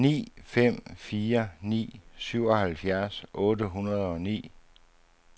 ni fem fire ni syvoghalvfjerds otte hundrede og ni